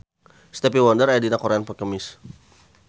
Stevie Wonder aya dina koran poe Kemis